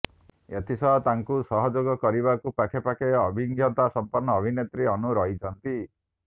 ଏଥିସହ ତାଙ୍କୁ ସହଯୋଗ କରିବାକୁ ପାଖେ ପାଖେ ଅଭିଜ୍ଞତା ସମ୍ପନ୍ନ ଅଭିନେତ୍ରୀ ଅନୁ ରହିଛନ୍ତି